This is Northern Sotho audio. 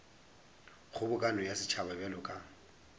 kgobokano ya setšhaba bjalo ka